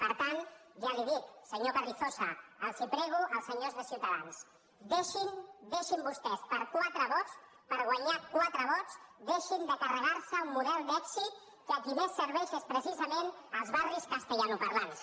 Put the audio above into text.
per tant ja li dic senyor carrizosa els ho prego als senyors de ciutadans deixin vostès per quatre vots per guanyar quatre vots de carregar se un model d’èxit que a qui més serveix és precisament als barris castellanoparlants